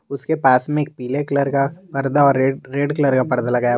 उसके पास में एक पीले कलर का पर्दा और रेड कलर का पर्दा लगाया हुआ--